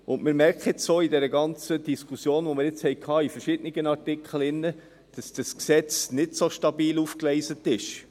Wir merken jetzt auch an der ganzen Diskussion, die wir zu verschiedenen Artikeln hatten, dass das Gesetz nicht so stabil aufgegleist ist.